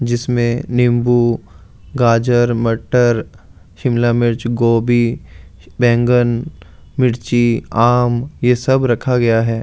जिसमें नींबू गाजर मटर सिमला मिर्च गोबी वैगॉन मिर्ची आम ये सब रखा गया है।